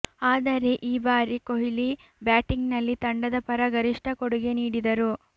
ಆದರೆ ಈ ಬಾರಿ ಕೊಹ್ಲಿ ಬ್ಯಾಟಿಂಗ್ನಲ್ಲಿ ತಂಡದ ಪರ ಗರಿಷ್ಠ ಕೊಡುಗೆ ನೀಡಿದರು